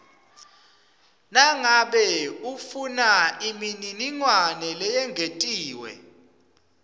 nangabe ufunaimininingwane leyengetiwe